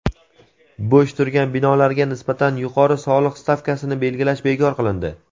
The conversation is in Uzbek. Bo‘sh turgan binolarga nisbatan yuqori soliq stavkasini belgilash bekor qilindi.